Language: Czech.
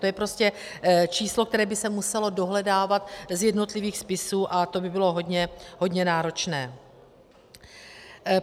To je prostě číslo, které by se muselo dohledávat z jednotlivých spisů, a to by bylo hodně náročné.